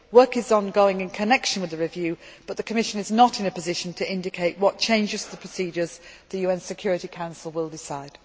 Work is ongoing in connection with the review but the Commission is not in a position to indicate what changes to the procedures the UN Security Council will decide.